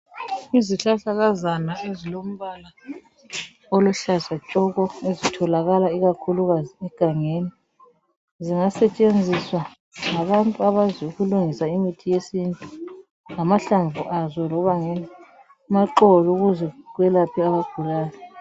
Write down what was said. Izihlahlakazana ezilombala oluhlaza tshoko ezitholakala ikakhulu kazi egangeni zingasetshenziswa ngabantu abaziyo ukulungisa imithi yesintu ngamahlamvu azo loba ngamaxolo ukuze belaphe abagulayo.